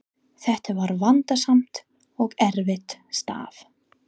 Þetta var vandasamt og erfitt starf.